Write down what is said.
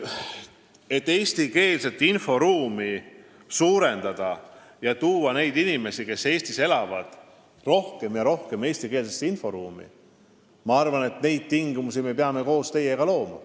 Me peame koos teiega looma neid tingimusi, et suurendada eestikeelset inforuumi, tuua sinna rohkem ja rohkem neid inimesi, kes Eestis elavad.